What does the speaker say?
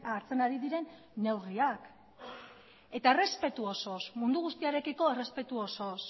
hartzen ari diren neurriak eta errespetu osoz mundu guztiarekiko errespetu osoz